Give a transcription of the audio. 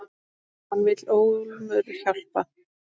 Hann vill ólmur hjálpa.